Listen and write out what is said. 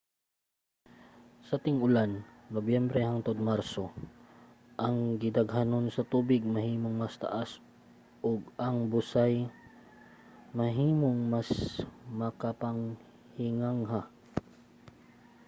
sa ting-ulan nobyembre hangtod marso ang gidaghanon sa tubig mahimong mas taas ug ang busay mahimong mas makapahingangha